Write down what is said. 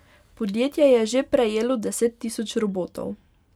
Podjetje je že prejelo deset tisoč robotov.